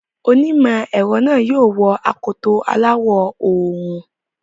Onímọ̀ ẹ̀rọ yóò wọ akoto aláwọ̀ òòrùn.